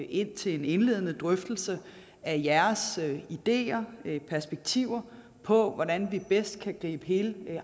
ind til en indledende drøftelse af jeres ideer og perspektiver på hvordan vi bedst kan gribe hele